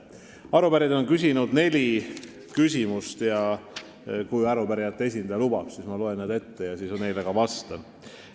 Arupärijad on küsinud neli küsimust ja kui arupärijate esindaja lubab, siis ma loen nad ette ja seejärel vastan.